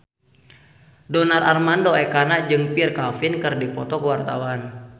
Donar Armando Ekana jeung Pierre Coffin keur dipoto ku wartawan